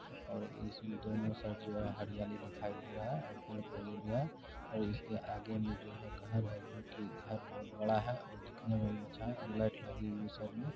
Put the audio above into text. और इसमें दोनों साइड जो है और हरियाली दिखाई दे रहा है और और इसके आगे में जो है जो कि घर है जो की घर बहुत बड़ा है और दिखने में भी अच्छा है लाइट लगी हुई है साइड में।